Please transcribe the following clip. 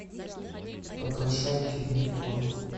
попрошайки в метро